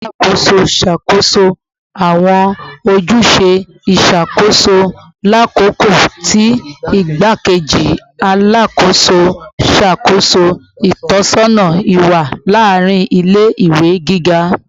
Alakoso n ṣakoso awọn ojuse iṣakoso lakoko ti Igbakeji Alakoso n ṣakoso itọsọna iwa laarin ile-iwe giga